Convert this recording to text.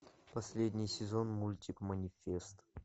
последний сезон мультик манифест